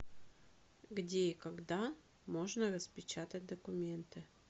где и когда можно распечатать документы